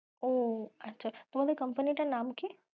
ও আচ্ছা, তোমাদের company টার নাম কী?